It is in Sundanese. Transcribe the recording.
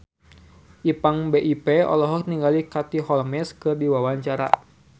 Ipank BIP olohok ningali Katie Holmes keur diwawancara